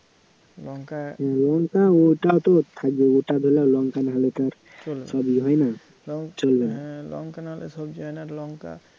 লঙ্কা ওটা তো থাকবেই লঙ্কা নাহলে তো আর সব ইয়ে হয় না